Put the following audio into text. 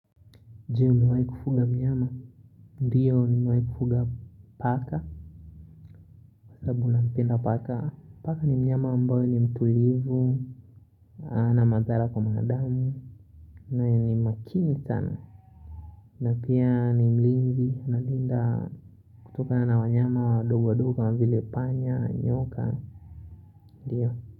Je umewahi kufuga mnyama. Ndiyo nimewahi kufuga paka. Kwa sababu nampenda paka. Paka ni mnyama ambayo ni mtulivu. Na madhara kwa mwanadamu. Na ni makini sana. Na pia ni mlinzi analinda. Kutokana na wanyama wadogo wadogo kama vile panya nyoka. Ndiyo.